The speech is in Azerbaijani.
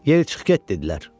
Yeri çıx get dedilər.